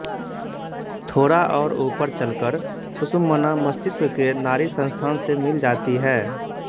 थोड़ा और ऊपर चलकर सुषुम्ना मस्तिष्क के नाड़िसंस्थान से मिल जाती है